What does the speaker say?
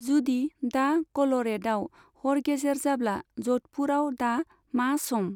जुदि दा कल'रेद'आव हर गेजेर अब्ला ज'धपुराव दा मा सम?